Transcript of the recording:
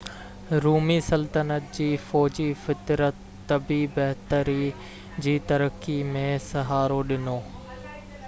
رومي سلطنت جي فوجي فطرت طبي بهتري جي ترقي ۾ سهارو ڏنو